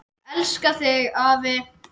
Elska þig, afi.